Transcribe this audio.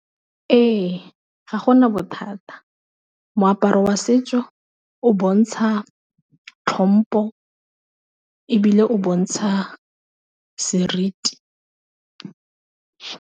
Ee, ga gona bothata moaparo wa setso o bontsha tlhompo, e bile o bontsha seriti.